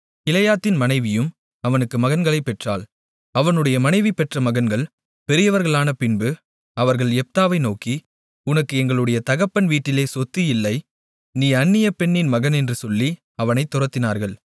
கிலெயாத்தின் மனைவியும் அவனுக்குக் மகன்களைப் பெற்றாள் அவனுடைய மனைவி பெற்ற மகன்கள் பெரியவர்களானபின்பு அவர்கள் யெப்தாவை நோக்கி உனக்கு எங்களுடைய தகப்பன் வீட்டிலே சொத்து இல்லை நீ அந்நிய பெண்ணின் மகன் என்று சொல்லி அவனைத் துரத்தினார்கள்